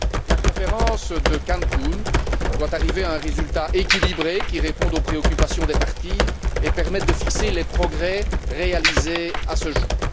La Conférence de Cancun doit arriver à un résultat équilibré qui réponde aux préoccupations des parties et permette de fixer les progrès réalisés à ce jour.